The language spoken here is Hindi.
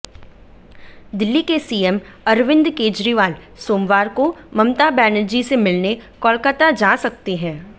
दिल्ली के सीएम अरविंद केजरीवाल सोमवार को ममता बनर्जी से मिलने कोलकाता जा सकते हैं